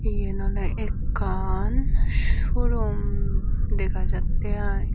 yen awle ekkan suo rum dega jatte i.